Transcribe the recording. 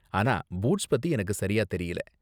ஆனா பூட்ஸ் பத்தி எனக்கு சரியா தெரியல.